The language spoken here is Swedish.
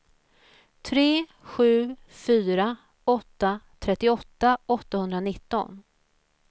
tre sju fyra åtta trettioåtta åttahundranitton